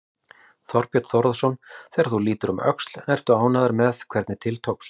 Þorbjörn Þórðarson: Þegar þú lítur um öxl, ert þú ánægður með hvernig til tókst?